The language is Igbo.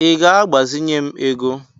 I ga-agbazinye m ego?